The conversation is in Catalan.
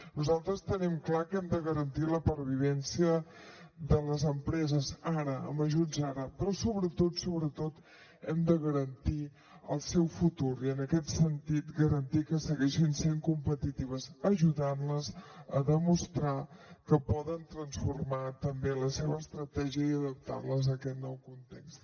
nosaltres tenim clar que hem de garantir la pervivència de les empreses ara amb ajuts ara però sobretot sobretot hem de garantir el seu futur i en aquest sentit garantir que segueixin sent competitives ajudant les a demostrar que poden transformar també la seva estratègia i adaptar les a aquest nou context